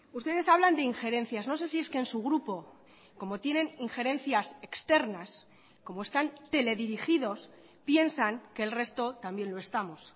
ustedes hablan de ingerencias no sé si es que en su grupo como tienen ingerencias externas como están teledirigidos piensan que el resto también lo estamos